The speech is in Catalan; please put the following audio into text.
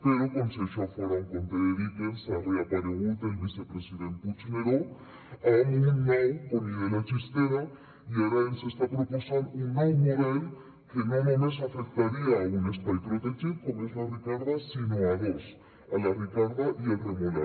però com si això fora un conte de dickens ha reaparegut el vicepresident puigneró amb un nou conill de la chistera i ara ens està proposant un nou model que no només afectaria un espai protegit com és la ricarda sinó a dos a la ricarda i al remolar